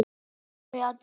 Var þau að dreyma?